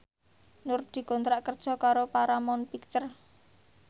Nur dikontrak kerja karo Paramount Picture